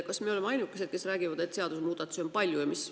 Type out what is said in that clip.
Kas me oleme ainukesed, kes räägivad, et seadusemuudatusi on palju?